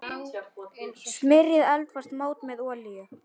Smyrjið eldfast mót með olíu.